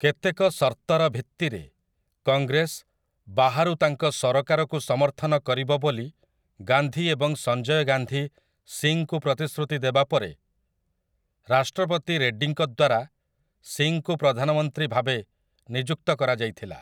କେତେକ ସର୍ତ୍ତର ଭିତ୍ତିରେ, କଂଗ୍ରେସ, ବାହାରୁ ତାଙ୍କ ସରକାରକୁ ସମର୍ଥନ କରିବ ବୋଲି ଗାନ୍ଧୀ ଏବଂ ସଞ୍ଜୟ ଗାନ୍ଧୀ ସିଂଙ୍କୁ ପ୍ରତିଶ୍ରୁତି ଦେବା ପରେ, ରାଷ୍ଟ୍ରପତି ରେଡ୍ଡିଙ୍କ ଦ୍ୱାରା, ସିଂଙ୍କୁ ପ୍ରଧାନମନ୍ତ୍ରୀ ଭାବେ ନିଯୁକ୍ତ କରାଯାଇଥିଲା ।